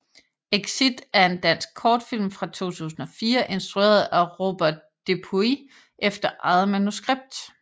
Exit er en dansk kortfilm fra 2004 instrueret af Robert Depuis efter eget manuskript